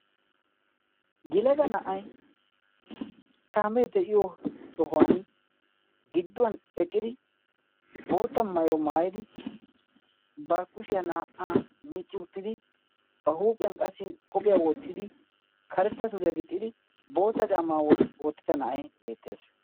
Yelaga na'ay kaamee de'iyo sohuwan gidduwan eqqidi bootta mayo maayidi barkkushiyaa naa"aa micci uttidi ba huuphiyan qassi qophiyaa woottidi karetta suriyaa gixxidi bootta caamaa oottida na'ay beettees.